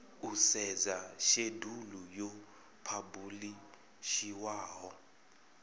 u sedza shedulu yo phabulishiwaho